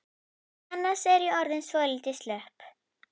Annars er ég orðin svolítið slöpp.